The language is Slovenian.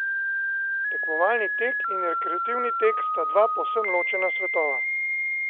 Tekmovalni tek in rekreativni tek sta dva povsem ločena svetova.